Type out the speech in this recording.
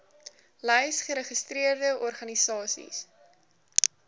lys geregistreerde organisasies